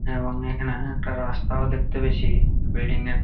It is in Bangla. এবং এখানে একটা রাস্তাও দেখতে পেয়েছি বিল্ডিং -এর--